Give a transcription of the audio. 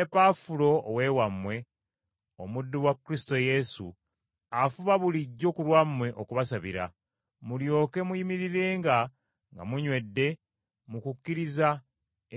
Epafula ow’ewammwe, omuddu wa Kristo Yesu, afuba bulijjo ku lwammwe okubasabira, mulyoke muyimirirenga nga munywedde mu kukkiriza